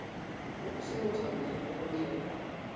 ukusebenza kuhle nangendlela